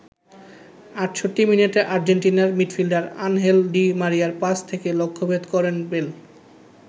৬৮ মিনিটে আর্জেন্টিনার midfielder Angel Di মারিয়ার পাস থেকে লক্ষ্যভেদ করেন বেল।